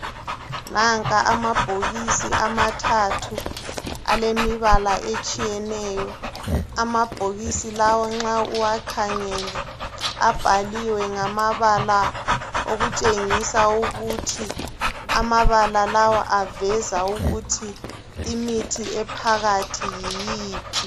Nanka amabhokisi amathathu alemibala etshiyeneyo. Amabhokisi lawa nxa uwakhangele abhaliwe ngamabala okutshengisa ukuthiamabala lawa aveza ukuthi imithi ephakathi yiyiphi.